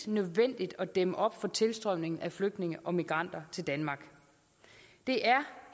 nødvendigt at dæmme op for tilstrømningen af flygtninge og migranter til danmark det er